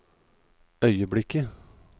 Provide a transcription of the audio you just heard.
øyeblikket